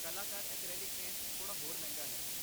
ਕਲਾਕਾਰ acrylic paint ਥੋੜਾ ਹੋਰ ਮਹਿੰਗਾ ਹੈ।